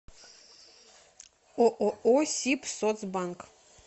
ооо сибсоцбанк